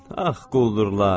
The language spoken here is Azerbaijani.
Ax quldurlar.